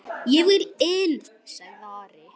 Ég vil inn, sagði Ari.